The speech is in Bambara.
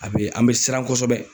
A be an be siran kɔsɛbɛ.